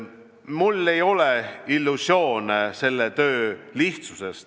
Mul ei ole illusioone selle töö lihtsuse kohta.